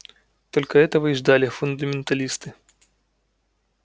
только этого и ждали фундаменталисты